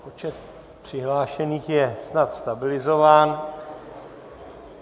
Počet přihlášených je snad stabilizován.